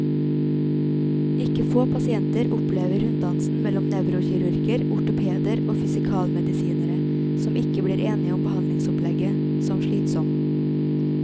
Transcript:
Ikke få pasienter opplever runddansen mellom nevrokirurger, ortopeder og fysikalmedisinere, som ikke blir enige om behandlingsopplegget, som slitsom.